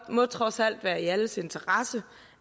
må trods alt være i alles interesse